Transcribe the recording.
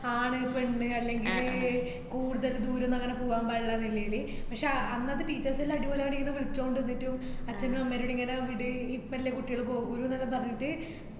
ആണ് പെണ്ണ് അല്ലങ്കി കൂടുതൽ ദൂരൊന്നും അങ്ങനെ പൂവാന്‍ പാടില്ലാന്ന് ഇല്ലേന്. പക്ഷേ അന്നത്തെ teachers അടിപൊളി അവരിങ്ങനെ വിളിച്ചോണ്ട് ന്നിട്ടും അച്ഛനുമമ്മേനേം ങ്ങനെ വിട് ഇപ്പല്ലേ കുട്ടികൾ പോകുലുന്നൊക്കെ പറഞ്ഞിട്ട്